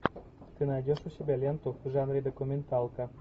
ты найдешь у себя ленту в жанре документалка